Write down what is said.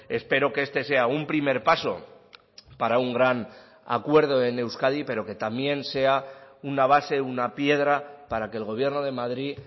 espero que este sea un primer paso para un gran acuerdo en euskadi pero que también sea una base una piedra para que el gobierno de madrid